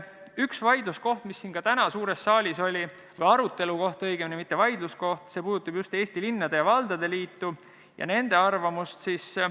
Üks vaidluskohti, mis ka täna suures saalis oli, arutelukoht õigemini, mitte vaidluskoht, puudutab Eesti Linnade ja Valdade Liitu ja nende arvamust.